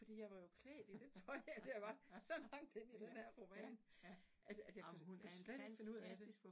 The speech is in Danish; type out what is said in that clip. Fordi jeg var jo klædt i det tøj, altså jeg var så langt inde i denne her roman, at jeg at jeg kunne kunne slet ikke finde ud af det